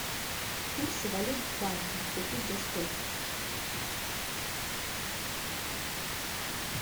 курсы валют в банке купить за сколько